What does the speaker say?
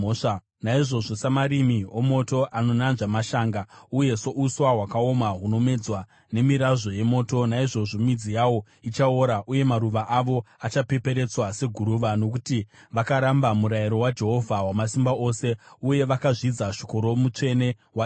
Naizvozvo, samarimi omoto anonanzva mashanga, uye souswa hwakaoma hunomedzwa nemirazvo yemoto, naizvozvo midzi yavo ichaora uye maruva avo achapeperetswa seguruva; nokuti vakaramba murayiro waJehovha Wamasimba Ose, uye vakazvidza shoko roMutsvene waIsraeri.